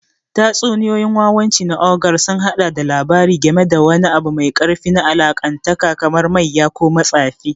Tatsuniyoyin wawanci na Ogre sun haɗa da labari game da wani abu mai ƙarfi na Allahntaka kamar mayya ko matsafi.